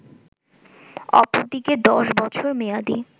অপরদিকে ১০ বছর মেয়াদি